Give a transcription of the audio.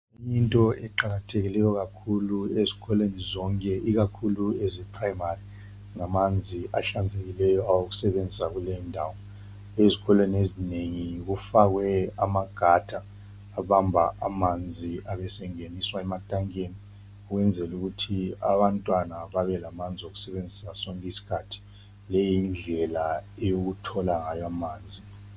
Into eqakathekileyo kakhulu ezikolweni zonke ikakhulu eze Primary ngamanzi ahlanzekileyo awokusebenzisa kuleyo ndawo. Ezikolweni ezinengi kufakwe ama gutter abamba amanzi abe sengeniswa ematankeni ukwenzela ukuthi abantwana babelamanzi okusebenzisa sonke isikhathi. Le yindlela yokuthola ngayo amanzi.